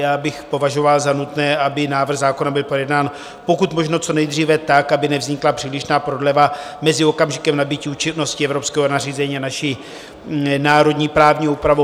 Já bych považoval za nutné, aby návrh zákona byl projednán pokud možno co nejdříve tak, aby nevznikla přílišná prodleva mezi okamžikem nabytí účinnosti evropského nařízení a naší národní právní úpravou.